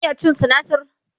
kin iya cin sinasir?